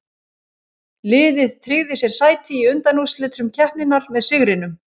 Liðið tryggði sér sæti í undanúrslitum keppninnar með sigrinum.